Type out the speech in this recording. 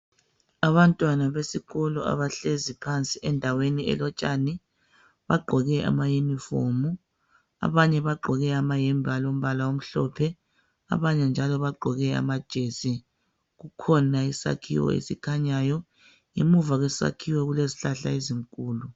Abantwana besikolo abahlezi phansi endaweni elotshani bagqoke ama yinifomu. Abanye bagqoke amayembe alombala omhlophe abanye njalo bagqoke amajesi. Kukhona isakhiwo esikhanyayo, ngemuva kwesakhiwo kule zihlahla ezinkulu.